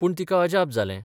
पूण तिका अजाप जालें.